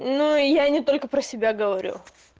ну я не только про себя говорю